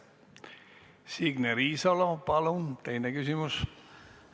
Signe Riisalo, palun teine küsimus!